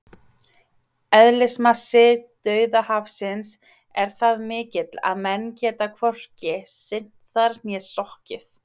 Eðlismassi Dauðahafsins er það mikill að menn geta hvorki synt þar né sokkið!